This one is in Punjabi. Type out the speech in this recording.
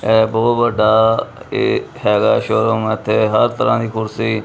ਇਹ ਬਹੁਤ ਵੱਡਾ ਇਹ ਹੈਗਾ ਸ਼ੋਰੂਮ ਇਥੇ ਹਰ ਤਰਾਂ ਦੀ ਕੁਰਸੀ--